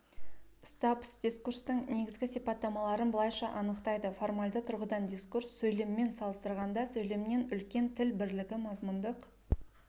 стаббс дискурстың негізгі сипаттамаларын былайша анықтайды формальды тұрғыдан дискурс сөйлеммен салыстырғанда сөйлемнен үлкен тіл бірлігі мазмұндық